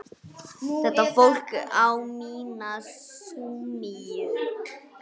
Þetta fólk á mína samúð.